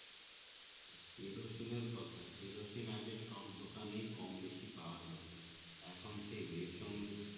কেরোসিনের কথা কেরোসিন আগে দোকানেই কম বেশি পাওয়া যেত এখন সেই রেশন